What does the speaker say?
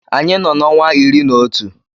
Anyị nọ n’ọnwa iri na otu